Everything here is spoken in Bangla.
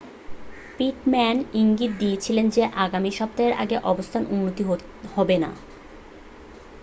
পিটম্যান ইঙ্গিত দিয়েছিলেন যে আগামী সপ্তাহের আগে অবস্থার উন্নতি হবে না